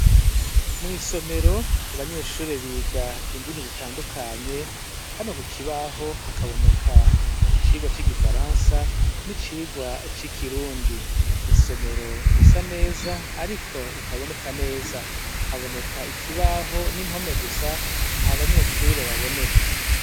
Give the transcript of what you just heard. Mw'isomero abanyeshure biga indimi zitandukanye, hano ku kibaho hakaboneka icigwa c'igifaransa n'icirwa c'ikirundi. Isomero risa neza ariko ritaboneka neza. Haboneka ikibaho n'impome gusa ntab'anyeshure baboneka.